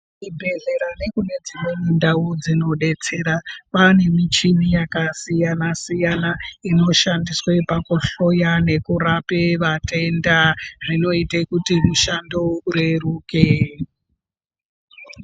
Kuzvi bhedhleya nekunedzimweni ndau dzinodetsera kwaane michini yakasiyana siyana inoshandiswe pakuhloya nekurape vatenda zvinoite kuti mushando ureruke.